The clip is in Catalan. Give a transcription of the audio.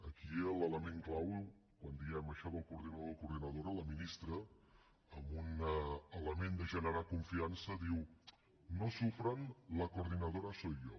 aquí l’element clau quan diem això del coordinador coordinadora la ministra amb un element de generar confiança diu no sufran la coordinadora soy yo